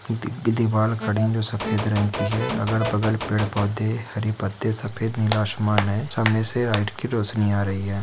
दी-दीवाल खड़े है जो सफेद रंग की है अगल- बगल पेड़-पौधे हरी पत्ते सफेद नीला आसमान है सामने से लाइट की रोशनी आ रही है।